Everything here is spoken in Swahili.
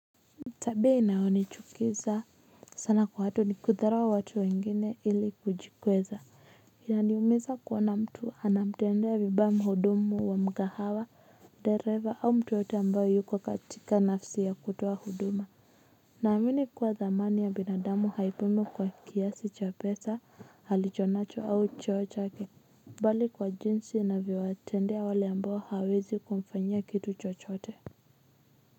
Tabia inayonichukiza sana kwa watu ni kudharau watu wengine ili kujikweza yaniumiza kuona mtu anamtendea vibaya muhudumu wa mgahawa dereva au mtu yeyote ambaye yuko katika nafsi ya kutoa huduma naamini kuwa dhamani ya binadamu haipimwi kwa kiasi cha pesa halichonacho au cheo chake bali kwa jinsi anavyo watendea wale ambao hawezi kumfanyia kitu chochote.